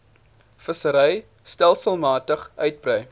vissery stelselmatig uitbrei